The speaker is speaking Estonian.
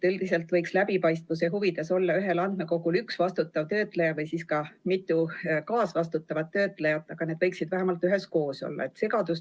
Üldiselt võiks läbipaistvuse huvides olla ühel andmekogul üks vastutav töötleja või siis mitu kaasvastutavat töötlejat, aga need võiksid vähemalt üheskoos olla.